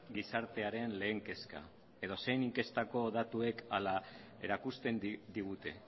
gizartearen lehen kezka edozein inkestako datuek hala erakusten digute